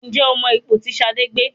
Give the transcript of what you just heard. Ǹjẹ́ o mọ ipò tí Ṣadé gbé?